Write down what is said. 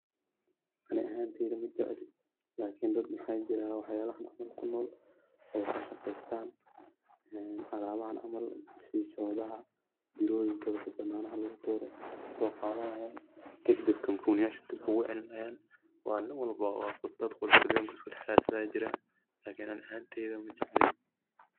Ani ahanteyda majeecli iklni waxajerah waxyalhan oo dhan kunol oo kashqeystan , alabahan caml xashee iyo shodaha caml bananaha lagu tuuroh, Aya soqathanaya kadib company yasha ayu deeb ugu celinya wa nin walba oo iskadaxraysathoh Aya jirah iklni Ani ahanteyda majeecli.